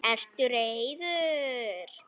Ertu reiður?